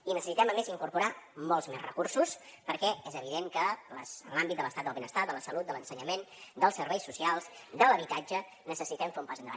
i necessitem a més incorporar molts més recursos perquè és evident que en l’àmbit de l’estat del benestar de la salut de l’ensenyament dels serveis socials de l’habitatge necessitem fer un pas endavant